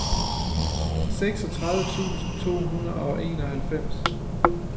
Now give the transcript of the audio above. seksogtredive tusind to hundrede og enoghalvfems